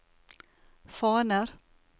faner